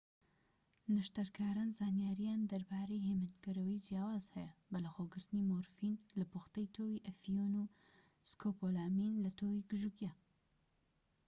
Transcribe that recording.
نەشتەرکاران زانیاریان دەربارەی هێمنکەرەوەی جیاواز هەیە بەلەخۆگرتنی مۆرفین لە پوختەی تۆوی ئەفیون و سکۆپۆلامین لە تۆوی گژوگیا